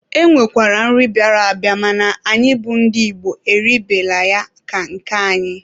E nwekwara nri bịara abịa mana anyị bụ ndị Igbo eribela ya ka nke anyị.